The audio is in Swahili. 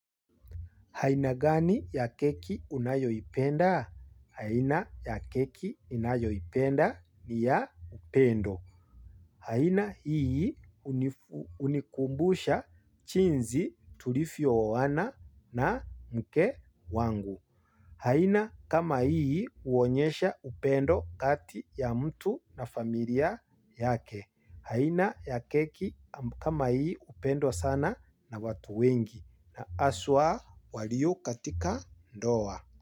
Haina gani ya keki unayoipenda? Haina ya keki unayoipenda ni ya upendo. Haina hii unikumbusha jinsi tulivyo oana na mke wangu. Haina kama hii huonyesha upendo kati ya mtu na familia yake. Haina ya keki kama hii hupendwa sana na watu wengi na haswa walio katika ndoa.